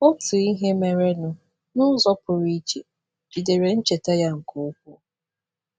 Otu ihe merenụ n’ụzọ pụrụ iche jidere ncheta ya nke ukwuu.